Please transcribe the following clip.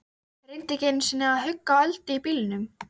Reyndi ekki einu sinni að hugga Öldu í bílnum.